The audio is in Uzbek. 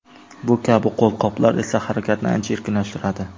Bu kabi qo‘lqoplar esa harakatni ancha erkinlashtiradi.